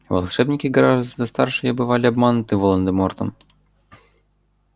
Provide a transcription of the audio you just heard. волшебники гораздо старше и бывали обмануты волан-де-мортом